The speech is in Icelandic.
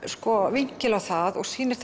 vinkil á það og sýnir